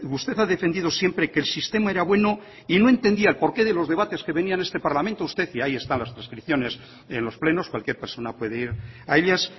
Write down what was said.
usted ha defendido siempre que el sistema era bueno y no entendía el porqué de los debates que venían en este parlamento y ahí están las transcripciones de los plenos cualquier persona puede ir a ellas